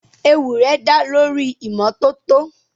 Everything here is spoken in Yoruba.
Ewì rẹ̀ dá lórí ìmọ́tótó.